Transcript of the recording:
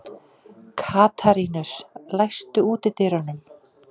Katarínus, læstu útidyrunum.